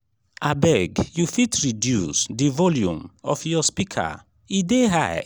abeg you fit reduce di volume of your speaker e dey high. um